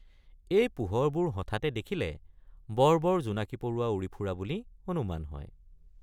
এই পোহৰবোৰ হঠাতে দেখিলে বৰ বৰ জোনাকী পৰুৱা উৰি ফুৰা বুলি অনুমান হয়।